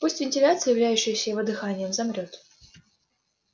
пусть вентиляция являющаяся его дыханием замрёт